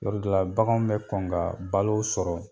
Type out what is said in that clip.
Yɔrɔ dɔ la baganw bɛ kɔn ka balo sɔrɔ.